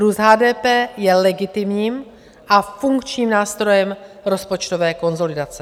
Růst HDP je legitimním a funkčním nástrojem rozpočtové konsolidace.